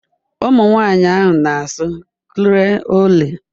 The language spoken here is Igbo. Ụmụ nwanyị ahụ na-asụ Creole